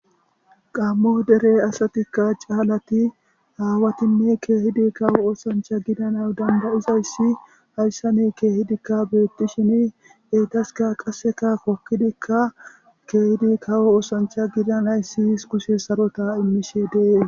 Gammo dere asatikka caalati aawatinne keehidi kawo oosancha gidana dandayizayssi hayssane keehidikka beettishini etaska qasseka hokkidikka keehidi kawo oosancha gidanay sihis kuse sarota immishe de'es